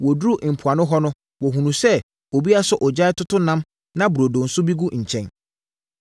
Wɔduruu mpoano hɔ no wɔhunuu sɛ obi asɔ ogya retoto nam na burodo bi nso gu nkyɛn.